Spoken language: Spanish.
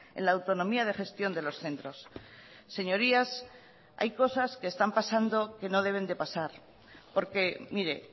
en la autonomía de gestión de los centros señorías hay cosas que están pasando que no deben de pasar porque mire